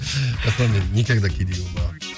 жасұлан мен никогда кедей болмағанмын